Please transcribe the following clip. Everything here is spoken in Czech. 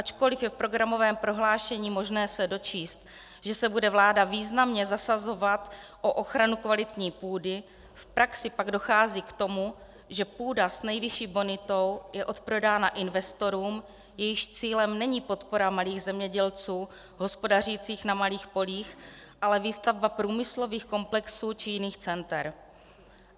Ačkoliv je v programovém prohlášení možné se dočíst, že se bude vláda významně zasazovat o ochranu kvalitní půdy, v praxi pak dochází k tomu, že půda s nejvyšší bonitou je odprodána investorům, jejichž cílem není podpora malých zemědělců hospodařících na malých polích, ale výstavba průmyslových komplexů či jiných center.